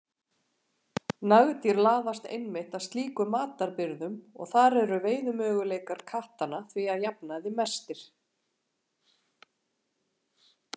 Nagdýr laðast einmitt að slíkum matarbirgðum og þar eru veiðimöguleikar kattanna því að jafnaði mestir.